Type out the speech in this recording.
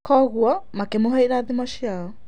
Koguo makĩmũhe irathimo ciao.